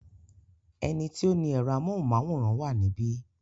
Ẹni tí ó ni ẹ̀rọ amóhùmáwòhán wà níbí.